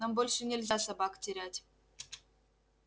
нам больше нельзя собак терять